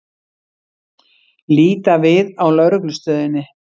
Líta við á Lögreglustöðinni.